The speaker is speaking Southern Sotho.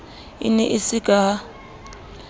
e ne e se ka